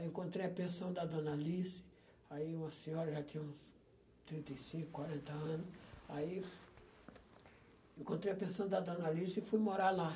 Aí encontrei a pensão da dona Alice, aí uma senhora, já tinha uns trinta e cinco, quarenta anos, aí encontrei a pensão da dona Alice e fui morar lá.